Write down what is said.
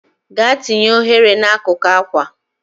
Gaa tinye oghere n'akụkụ akwa!.